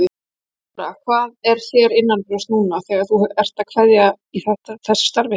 Þóra: Hvað er þér innanbrjósts núna þegar þú ert að kveðja í þessu starfi?